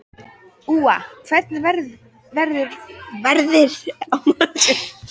Úa, hvernig verður veðrið á morgun?